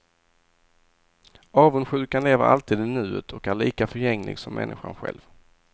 Avundsjukan lever alltid i nuet och är lika förgänglig som människan själv.